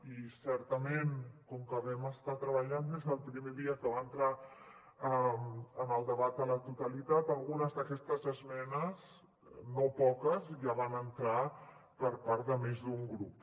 i certament com que vam estar treballant des del primer dia que va entrar en el debat a la totalitat algunes d’aquestes esmenes no poques ja van entrar per part de més d’un grup